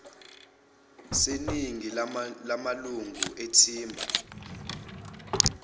seningi lamalunga ethimba